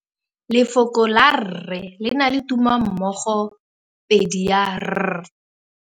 Lefoko la rre le na le tumammogôpedi ya, r.